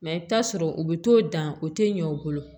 i bɛ taa sɔrɔ u bɛ t'o dan o tɛ ɲɛ u bolo